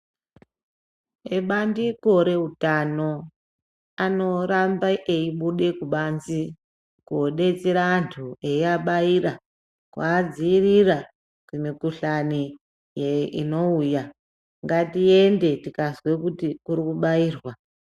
Ebandiko reutano , anoramba eibude kubanze kodetsera antu eyiabaira kuadziirira kumikuhlani inouya. Ngatiende tikazwe kuti kuri kubairwa.